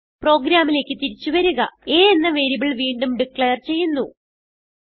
പ്രോഗ്രാമിലേക്ക് തിരിച്ചു വരിക a എന്ന വേരിയബിൾ വീണ്ടും ഡിക്ലേർ ചെയ്യുന്നു